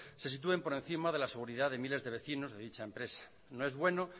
se sitúen por encima de la seguridad de miles de vecinos de dicha empresa no es bueno